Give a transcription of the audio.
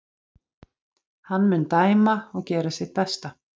Hann mun dæma og gera sitt besta.